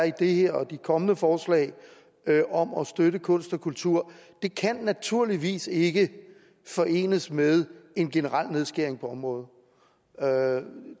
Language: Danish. i det her og i de kommende forslag om at støtte kunst og kultur naturligvis ikke kan forenes med en generel nedskæring på området